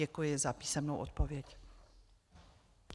Děkuji za písemnou odpověď.